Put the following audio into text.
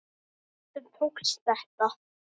Stundum tókst þetta.